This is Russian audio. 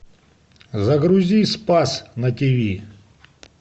загрузи спас на тиви